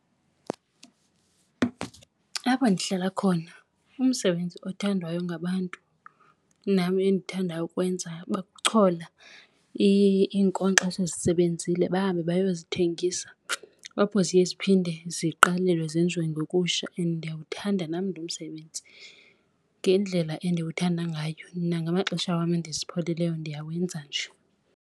Apho ndihlala khona umsebenzi othandwayo ngabantu nam endithandayo ukuwenza kuchola iinkonkxa esezisebenzile bahambe bayozithengisa apho ziye ziphinde ziqalele zenziwe ngokutsha. And ndiyawuthanda nam lo msebenzi. Ngendlela endiwuthanda ngayo mna ngamaxesha wam endizipholileyo ndiyawenza nje.